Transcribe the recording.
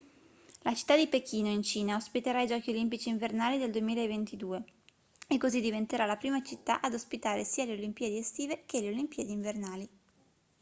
la città di pechino in cina ospiterà i giochi olimpici invernali del 2022 è così diventerà la prima città ad ospitare sia le olimpiadi estive che le olimpiadi invernali